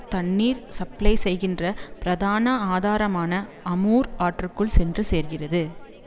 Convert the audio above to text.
தண்ணீர் சப்ளை செய்கின்ற பிரதான ஆதாரமான அமூர் ஆற்றுக்குள் சென்று சேர்கிறது